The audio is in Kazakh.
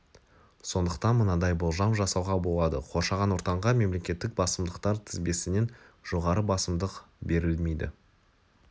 сондықтан мынадай болжам жасауға болады қоршаған ортанға мемлекеттік басымдықтар тізбесінен жоғары басымдық берілмейді